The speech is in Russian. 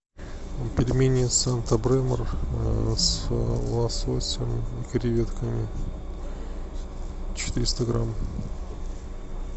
пельмени санта бремор с лососем и креветками четыреста грамм